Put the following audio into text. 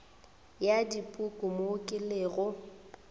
ya dipuku mo ke lego